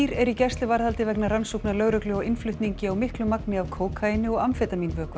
eru í gæsluvarðhaldi vegna rannsóknar lögreglu á innflutningi á miklu magni af kókaíni og